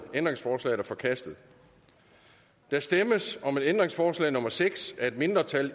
ændringsforslaget er forkastet der stemmes om ændringsforslag nummer seks af et mindretal